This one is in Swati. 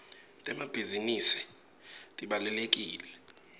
temabhisinisi tibalulekile